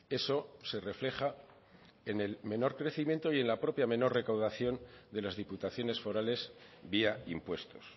eso se refleja en el menor crecimiento y en la propia menor recaudación de las diputaciones forales vía impuestos